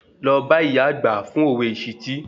Lọ bá ìyá àgbà fún òwe ìṣìtí